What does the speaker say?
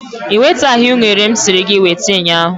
I wetaghị unere m siri gị weta ụnyahụ.